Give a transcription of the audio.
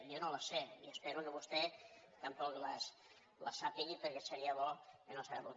jo no les sé i espero que vostè tampoc les sàpiga perquè seria bo no saber ho